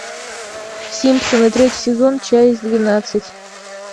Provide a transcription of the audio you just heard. симпсоны третий сезон часть двенадцать